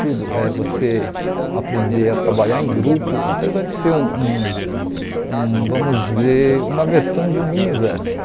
Tudo é você aprender a trabalhar em grupo, apesar de ser um um um, vamos dizer, uma versão de um mini-exército.